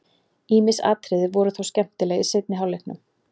Ýmis atriði voru þó skemmtileg í seinni hálfleiknum.